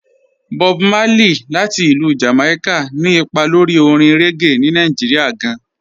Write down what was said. Bọ̀b Márlẹ̀yì, láti Ilú Jamaica, ni ìpà lórí òrìṅ reggae ní Nàìjíríà gàn.